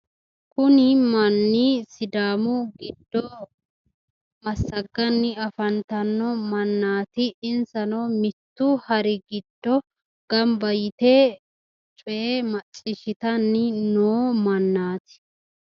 kuni manni sidaamu giddo massagganni afantanno mannaati insano mittu hari giddo gamba yite coye macciishshitanni noo mannaati